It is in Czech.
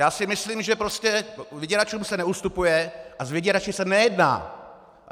Já si myslím, že prostě vyděračům se neustupuje a s vyděrači se nejedná!